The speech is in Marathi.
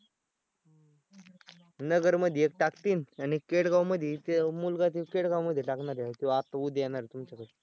नगरमध्ये एकटाक तीन आणि केडगावमध्ये ते मुलगा तो केडगावमध्ये टाकणार आहे तो आता उद्या येणार आहे तुमच्याकडं